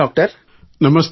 ನಮಸ್ತೆ ಡಾಕ್ಟರ್